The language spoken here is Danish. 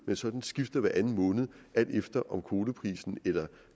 man sådan skifter hver anden måned alt efter om kvoteprisen